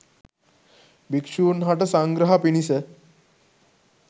භික්ෂූන් හට සංග්‍රහ පිණිස